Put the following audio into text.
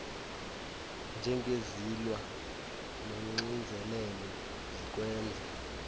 njengezilwa nonxinzelelo zikwenza